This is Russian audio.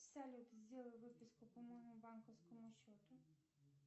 салют сделай выписку по моему банковскому счету